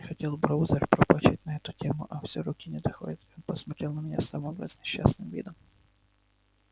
хотел броузер пропатчить на эту тему а все руки не доходят и он посмотрел на меня с самым разнесчастным видом